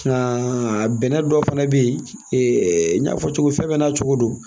Nka bɛnɛ dɔ fana bɛ yen n y'a fɔ cogo min fɛn bɛɛ n'a cogo do